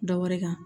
Dɔ wɛrɛ kan